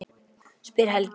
spyr Helgi.